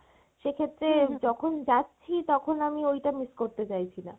সেক্ষেত্রে যখন যাচ্ছি তখন আমি ওইটা miss করতে চাইছি না।